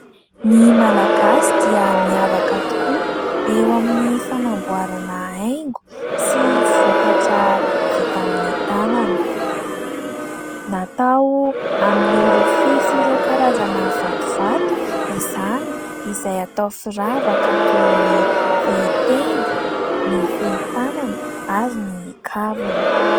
Ny malagasy dia miavaka tokoa eo amin'ny fanamboarana haingo sy vokatra vita amin'ny tanana. Natao amin'ny rofia sy ireo karazana vatovato izany, izay atao firavaka toy ny fehitenda, ny fehitanana ary ny kavina.